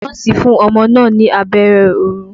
Nọ́ọ̀sì fún ọmọ náà ní abẹ́rẹ́ orun.